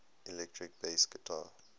electric bass guitar